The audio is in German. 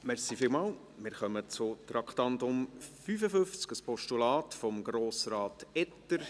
Wir kommen zum Traktandum 55, einem Postulat von Grossrat Etter.